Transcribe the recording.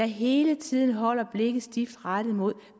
hele tiden holder blikket stift rettet mod